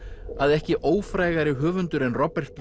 að ekki höfundur en Robert